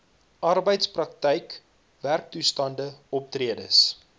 arbeidsprakryk werktoestande optredes